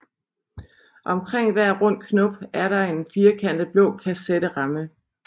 Omkring hver rund knop er der en firkantet blå kasetteramme